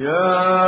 يَا